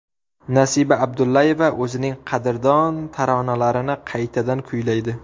Nasiba Abdullayeva o‘zining qadrdon taronalarini qaytadan kuylaydi.